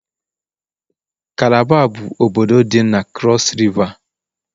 kalaba bụ obodo dị na krọs Riva.